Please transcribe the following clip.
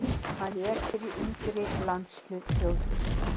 Hann lék fyrir yngri landslið Þjóðverja.